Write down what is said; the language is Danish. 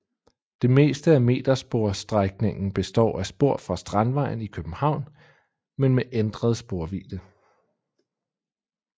Det meste af metersporsstrækningen består af spor fra Strandvejen i København men med ændret sporvidde